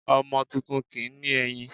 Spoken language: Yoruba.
Ọmọ tuntun kì ní eyín